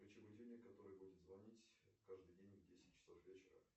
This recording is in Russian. включи будильник который будет звонить каждый день в десять часов вечера